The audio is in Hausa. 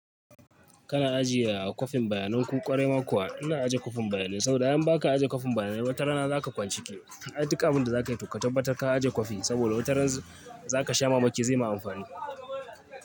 Kana ajiye kwafin bayanen ku ƙwarai ma kuwa ina ajiye kwafin bayanai saboda in ba ka ajiye kwafin bayanai wata rana za ka kwan ciki. Ai duk abunda za ka yi to ka tabbatar ka ajiye kwafi saboda wata ran za ka sha mamaki zai ma amfani.